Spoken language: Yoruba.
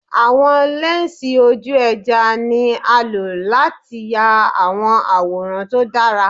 Awọn lẹnsi oju-ẹja ni a lo lati ya awọn iyaworan to dara